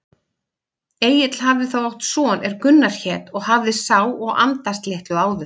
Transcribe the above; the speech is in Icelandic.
Egill hafði þá átt son er Gunnar hét og hafði sá og andast litlu áður.